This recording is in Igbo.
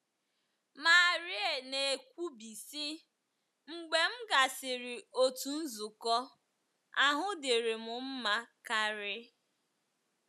Marie na - ekwubi, sị: “ Mgbe m gasịrị otu nzukọ, ahụ́ dịrị m mma karị.